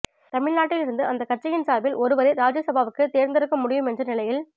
தமிழ்நாட்டில் இருந்து அந்தக் கட்சியின் சார்பில் ஒருவரை ராஜ்யசபாவுக்கு தேர்நெடுக்க முடியும் என்ற நிலையில்